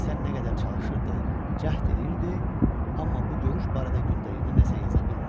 Nisə nə qədər çalışırdı, cəhd eləyirdi, amma bu görüş barədə gündəliyinə nə isə yaza bilmirdi.